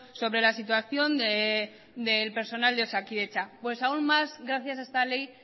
sobre la situación del personal de osakidetza pues aun más gracias a esta ley